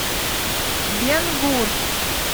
бен гур